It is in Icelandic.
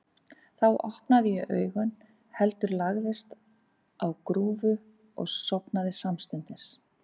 Þá opnaði ég ekki augun, heldur lagðist á grúfu og sofnaði samstundis.